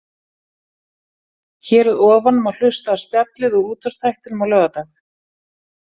Hér að ofan má hlusta á spjallið úr útvarpsþættinum á laugardag.